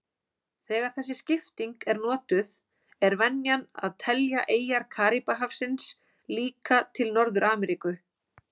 Þegar þessi skipting er notuð er venjan að telja eyjar Karíbahafsins líka til Norður-Ameríku.